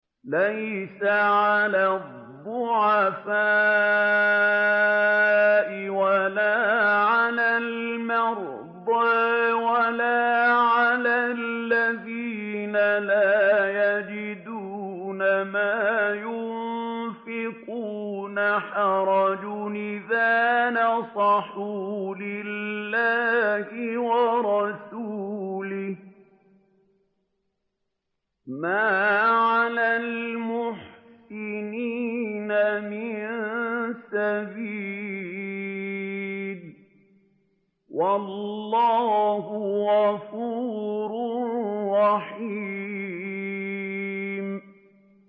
لَّيْسَ عَلَى الضُّعَفَاءِ وَلَا عَلَى الْمَرْضَىٰ وَلَا عَلَى الَّذِينَ لَا يَجِدُونَ مَا يُنفِقُونَ حَرَجٌ إِذَا نَصَحُوا لِلَّهِ وَرَسُولِهِ ۚ مَا عَلَى الْمُحْسِنِينَ مِن سَبِيلٍ ۚ وَاللَّهُ غَفُورٌ رَّحِيمٌ